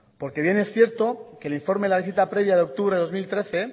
porque bien es cierto que el informe de la visita previa de octubre de dos mil trece